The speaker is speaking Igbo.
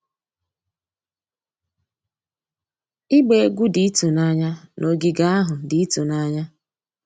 Ịgba egwu dị ịtụnanya na ogige ahụ dị ịtụnanya.